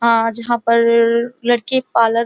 आज जहां पर लड़की पार्लर --